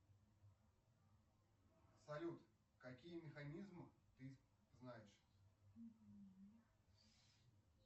салют какие механизмы ты знаешь